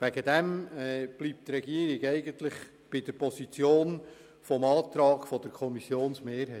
Die Regierung bleibt deshalb bei der Position des Antrags der Kommissionsmehrheit.